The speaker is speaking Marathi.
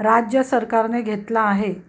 राज्य सरकारने घेतला आहे